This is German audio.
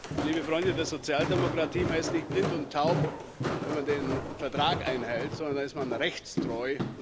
Und, liebe Freunde der Sozialdemokratie, man ist nicht blind und taub, wenn man den Vertrag einhält, sondern da ist man rechtstreu.